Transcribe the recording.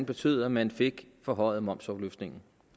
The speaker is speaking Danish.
betød at man fik forhøjet momsafløftningen